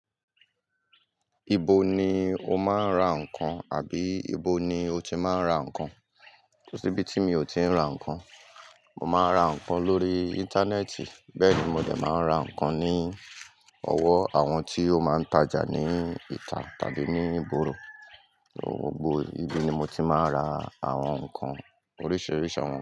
Ibo ni o máa ń ra nǹkan àbí ibo ni o ti máa ń ra nǹkan? Ko síbí tí mi ò ti rà nǹkan, mo máa ra nǹkan lórí íńtánẹ́ẹ̀tì, bẹ́ẹ̀ ni mo dè máa ra nǹkan ní ọwọ́ àwọn tí ó máa ń tajà ní ìta tàbí ní ìgboro. Gbogbo ibi ni mo ti ma ń ra àwọn ǹkan oríṣiríṣi àwọn.